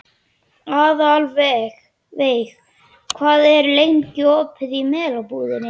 Aðalveig, hvað er lengi opið í Melabúðinni?